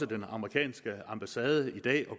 den amerikanske ambassade i dag